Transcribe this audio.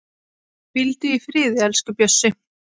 Hvíldu í friði, elsku Bjössi.